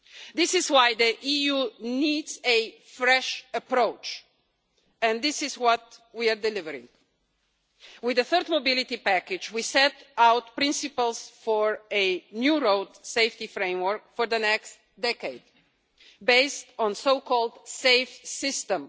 This is why the EU needs a fresh approach, and this is what we are delivering. With the Third Mobility Package, we set out principles for a new road safety framework for the next decade based on the so called Safe System.